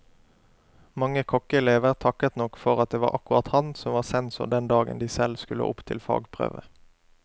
Mange kokkeelever takket nok for at det var akkurat han som var sensor den dagen de selv skulle opp til fagprøve.